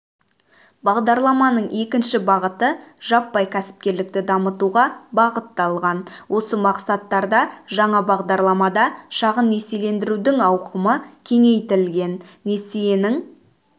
бағдарламаның екінші бағыты жаппай кәсіпкерлікті дамытуға бағытталған осы мақсаттарда жаңа бағдарламада шағын несиелендірудің ауқымы кеңейтілген несиенің